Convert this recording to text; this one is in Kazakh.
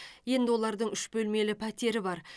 енді олардың үш бөлмелі пәтері бар